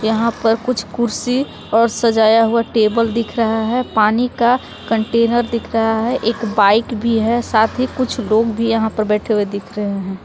यहाँ पर कुछ कुर्सी और सजाया हुआ टेबल दिख रहा है पानी का कंटेनर दिख रहा है एक बाइक भी है साथ ही कुछ लोग भी यहाँ पे बैठे हुए दिख रहे हैं।